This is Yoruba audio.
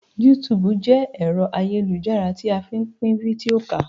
Yútùùbù jẹ́ ẹ̀rọ ayélujára tí a fí n pín fídíò ká